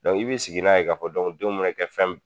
i b'i sigi n'a ye k'a fɔ denw mɛ na kɛ fɛn mun